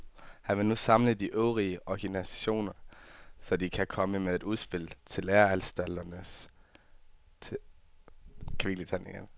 Han vil nu samle de øvrige organisationer, så de kan komme med et udspil til læreanstalterne i løbet af februar.